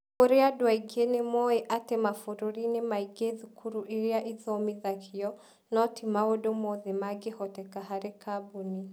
Kũrĩ andũ aingĩ nĩ moĩ atĩ mabũrũri-inĩ maingĩ thukuru iria ithomithagio no ti maũndũ mothe mangĩhoteka harĩ kambuni.